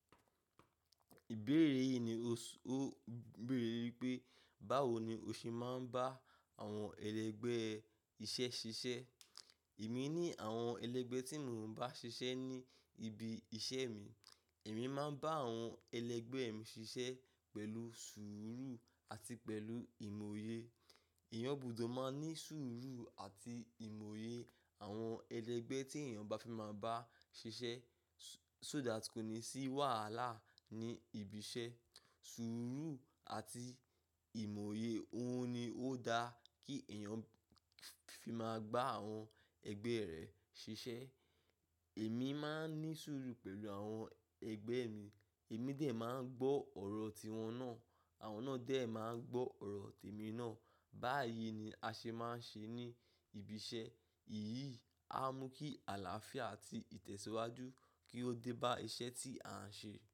Ìbéèrè yìí ni o sú ó béèrè wípé, báwo ni o ṣe máa ń bá àwọn ẹlẹgbẹ́ iṣẹ́ ṣiṣẹ́? Èmi ní àwọn ẹlẹgbẹ́ tí mò ń bá ṣiṣẹ́ ní ibi iṣẹ́ mi. Èmi máa ń bá àwọn ẹlẹgbẹ́ mi ṣiṣẹ́ pẹ̀lú sùúrù àti pẹ̀lú ìmòye. Eeyán gbùdó máa ní sùúrù àti ìmòye àwọn ẹlẹgbẹ́ tí èèyàn bá fi máa bá ṣiṣẹ́. Só that kò ní sì wàhálà ní ibi iṣẹ́. Sùúrù àti ìmòye, òun ni ó dá kí èèyàn fi máa gbá àwọn ẹgbẹ́ rẹ̀ ṣiṣẹ́. Èmi máa ń ní sùúrù pẹ̀lú àwọn ẹgbẹ́ mi, èmi dè ẹ máa ń gbọ́ ọ̀rọ̀ tí wọ́n náà, àwọn náà dè ẹ máa ń gbọ́ ọ̀rọ̀ tèmi náà. Báyìí ni a ṣe máa ń ṣe ní ibi iṣẹ́. Èyí a mú kí àlàáfíà àti ìtẹ̀síwájú kí ó dé bá iṣẹ́ tí à ń ṣe.